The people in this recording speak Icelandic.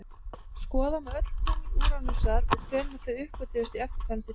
Skoða má öll tungl Úranusar og hvenær þau uppgötvuðust í eftirfarandi töflu: